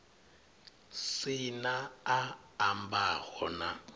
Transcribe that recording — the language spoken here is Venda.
si na a ambaho na